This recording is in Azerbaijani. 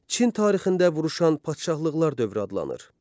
Çin tarixində vuruşan padşahlıqlar dövrü adlanır.